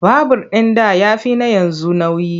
Babur ɗin da ya fi na yanzu nauyi.